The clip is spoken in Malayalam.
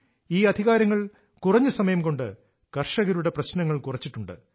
ഈ അധികാരങ്ങൾ കുറഞ്ഞ സമയം കൊണ്ട് കർഷകരുടെ പ്രശ്നങ്ങൾ കുറച്ചിട്ടുണ്ട്